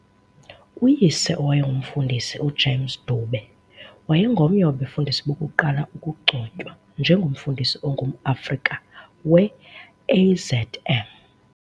Uyise owayengumfundisi uJames Dube, wayengomnye wabefundisi bokuqala ukugcotywa nje ngomfundisi ongumAfrika we-AZM.